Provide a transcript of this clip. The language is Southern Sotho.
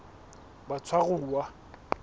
batshwaruwa